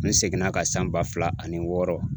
Ne seginn'a ka san ba fila ani wɔɔrɔ.